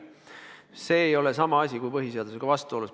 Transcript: See ei ole sama kui põhiseadusega vastuolus olemine.